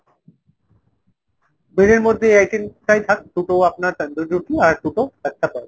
bread এর মধ্যে এইitem টাই থাক দুটো আপনার তান্দুরি রুটি আর দুটো লাচ্ছা পরাঠা।